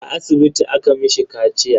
A asibiti aka mishi kaciya.